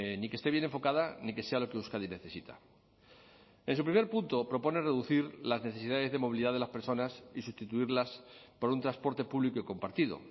ni que esté bien enfocada ni que sea lo que euskadi necesita en su primer punto propone reducir las necesidades de movilidad de las personas y sustituirlas por un transporte público y compartido